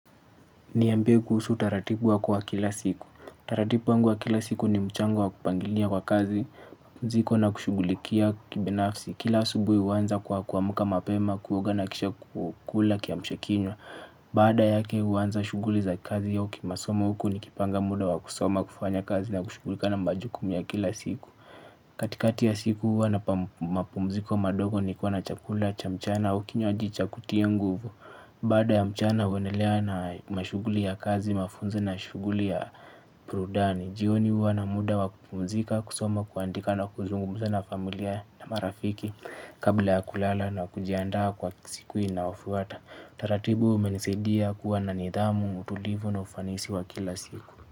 Niambie kuhusu utaratibu wako wa kila siku. Taratibu wangu wa kila siku ni mchango wa kupangilia kwa kazi mzigo na kushughulikia kibinafsi. Kila asubuhi huanza kwa kuamka mapema kuoga na kisha kukula kiamshakinywa. Baada yake huanza shughuli za kazi au kimasomo huku nikipanga muda wa kusoma kufanya kazi na kushughulika na majukumu ya kila siku. Katikati ya siku huwa na mapumziko madogo nikiwa na chakula cha mchana au kinywaji cha kutia nguvu. Baada ya mchana huendelea na mashughuli ya kazi mafunzo na shughuli ya burudani. Jioni huwa na muda wa kupumzika kusoma kuandika na kuzungumza na familia na marafiki. Kabla ya kulala na kujiandaa kwa siku inaofuata taratibu umenisaidia kuwa na nidhamu, utulivu na ufanisi wa kila siku.